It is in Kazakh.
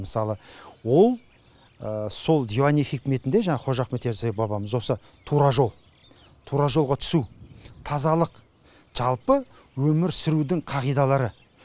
мысалы ол сол диуани хикметінде жаңағы қожа ахмет ясауи бабамыз осы тура жол тура жолға түсу тазалық жалпы өмір сүрудің қағидалары